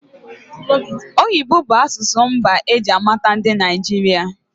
Oyibo bụ asụsụ mbụ eji mata ndị Naịjirịa